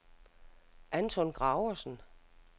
Anton Graversen